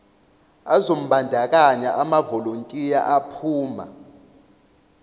azombandakanya amavolontiya aphuma